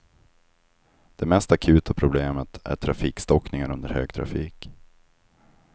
Det mest akuta problemet är trafikstockningar under högtrafik.